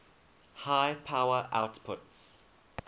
high power outputs